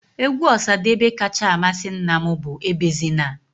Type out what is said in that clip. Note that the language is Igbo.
Égwú Osadebe kacha amasị nna m bụ Ebezina.